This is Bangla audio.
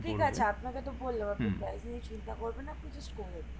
ঠিক আছে আপনাকে তো বলল চিন্তা করবেন না